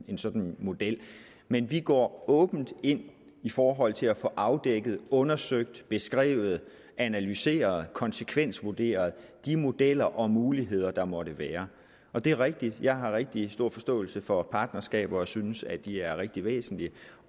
en sådan model men vi går åbent ind i forhold til at få afdækket undersøgt beskrevet analyseret konsekvensvurderet de modeller og muligheder der måtte være det er rigtigt at jeg har rigtig stor forståelse for partnerskaber og synes at de er rigtig væsentlige